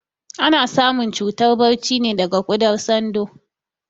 Ana samun cutar barci ne daga kuɗar tsando